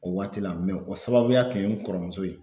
O waati la o sababuya kun ye n kɔrɔmuso ye.